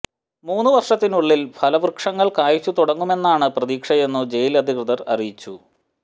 മൂന്നു വർഷത്തിനുള്ളിൽ ഫലവൃക്ഷങ്ങൾ കായ്ച്ചു തുടങ്ങുമെന്നാണു പ്രതീക്ഷയെന്നു ജയിൽ അധികൃതർ അറിയിച്ചു